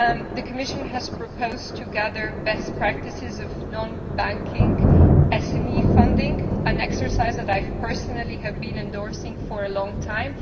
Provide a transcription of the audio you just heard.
The Commission has proposed gathering best practices in non bank SME funding, an exercise that I personally have been endorsing for a long time.